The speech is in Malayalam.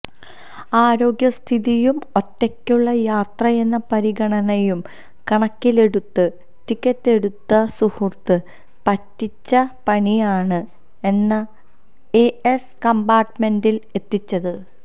ആരോഗ്യസ്ഥിതിയും ഒറ്റയ്ക്കുള്ള യാത്രയെന്ന പരിഗണനയും കണക്കിലെടുത്ത് ടിക്കെറ്റെടുത്ത സുഹൃത്ത് പറ്റിച്ച പണിയാണ് എന്നെ എ സി കമ്പാര്ട്ട്മെന്റില് എത്തിച്ചത്